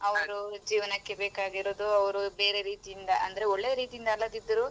ಅವ್ರು ಜೀವನಕ್ಕೆ ಬೇಕಾಗಿರೋದು ಅವ್ರು ಬೇರೆ ರೀತಿಯಿಂದ ಅಂದ್ರೆ ಒಳ್ಳೇ ರೀತಿಯಿಂದ ಅಲ್ಲದಿದ್ರು.